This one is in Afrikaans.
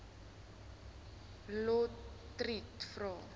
lotriet vra